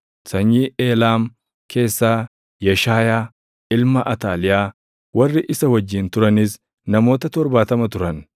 sanyii Eelaam keessaa Yeshaayaa ilma Ataaliyaa; warri isa wajjin turanis namoota 70 turan;